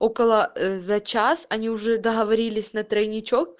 около за час они уже договорились на тройничок